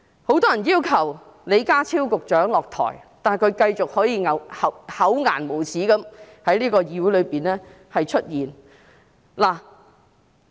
很多人要求李家超局長下台，但他可以繼續厚顏無耻地在議會內出現。